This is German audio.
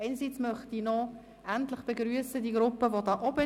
Erstens begrüsse ich endlich die Gruppe auf der Tribüne.